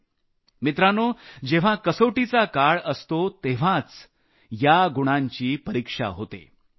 मित्रांनो जेव्हा कसोटीचा काळ असतो तेव्हाच या गुणांची परिक्षा केली जाते